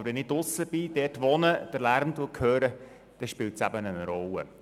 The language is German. Aber wenn ich den Lärm höre, weil ich draussen bin oder dort wohne, dann spielt es eine Rolle.